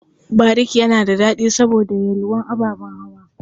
Bariki yana da daɗi saboda yalwar ababen hawa.